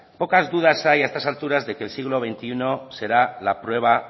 pocas dudas hay a esas alturas de que el siglo veintiuno será la prueba